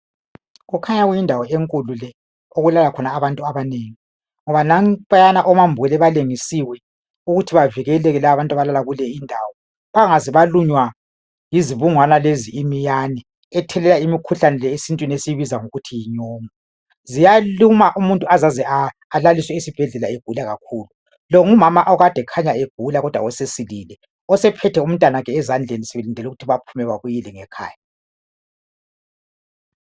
Kukhanya kuyindawo enkulu le elala abantu abanengi ngoba nampiyana omambule balengisiwe ukuthi ba vikele abantu abalala kuleyo indawo bengaze balunywe yizibungwane lezi iminyane ethelela umikhuhlane esintwini esiyibiza sisithi yinyongo. Ziyaluma umuntu aze alaliswe esibhedlela segula, longumama okade egula kodwa sekhanya sesilili esephethe umntwana sebelindele ukuthi baye ngekhaya.